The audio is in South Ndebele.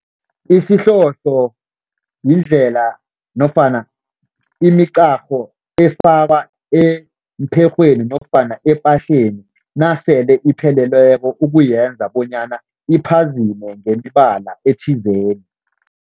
Isihlohlo yindlela nofana imiqarho efakwa empherhweni nofana epahleni nasele ipheleleko ukuyenza bonyana iphazime ngemibala ethizeni.